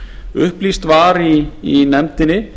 upplýst var í nefndinni